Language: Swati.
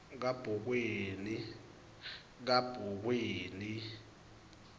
kabokweni